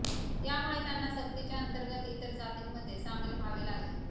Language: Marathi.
यामुळे त्यांना सक्तीच्या अंतर्गत इतर जातींमध्ये सामील व्हावे लागले